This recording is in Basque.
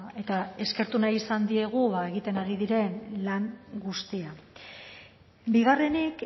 eta eskertu nahi izan diegu egiten ari diren lan guztia bigarrenik